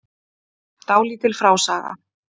Dálítil frásaga.